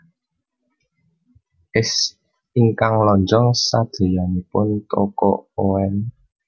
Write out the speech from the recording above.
Es ingkang lonjong sadeyanipun Toko Oen